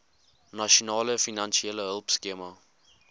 nasionale finansiële hulpskema